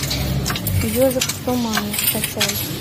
ежик в тумане скачай